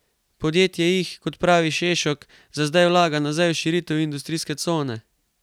Podjetje jih, kot pravi Šešok, za zdaj vlaga nazaj v širitev industrijske cone.